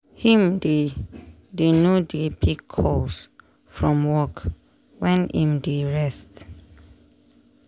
him dey dey no dey pick calls from work wen im dey rest.